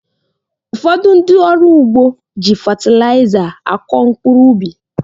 Ụfọdụ ndị ọrụ ugbo jị fetilayiza akọ mkpụrụ ubi